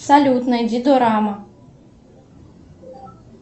салют найди дораму